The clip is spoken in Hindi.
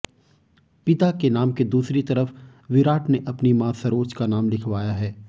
पिता के नाम के दूसरी तरफ विराट ने अपनी मां सरोज का नाम लिखवाया है